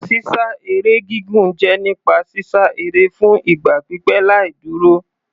Sísá eré gígùn jẹ́ nípa sísá eré fún ìgbà pípẹ́ láì dúró.